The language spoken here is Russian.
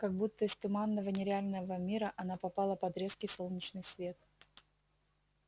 как будто из туманного нереального мира она попала под резкий солнечный свет